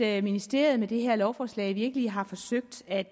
at ministeriet med det her lovforslag virkelig har forsøgt at